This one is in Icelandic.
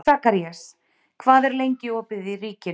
Sakarías, hvað er lengi opið í Ríkinu?